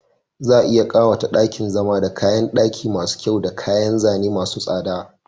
Za a iya ƙawata ɗakin zama da kayan ɗaki masu kyau da kayan zane masu tsada..